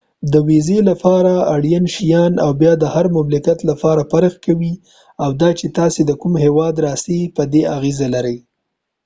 د ويزی لپاره اړین شيان او بیه د هر مملکت لپاره فرق کوي او دا چې تاسی د کوم هیواده راڅۍ په دي اغیزه لري